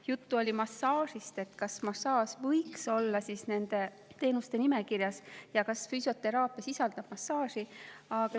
Juttu oli massaažist, kas massaaž võiks olla nende teenuste nimekirjas ja kas füsioteraapia sisaldab massaaži.